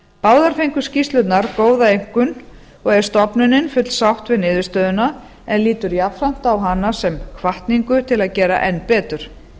áður fengu skýrslurnar góða einkunn og er stofnunin fullsátt við niðurstöðuna en lítur jafnframt á hana sem hvatningu til að gera enn betur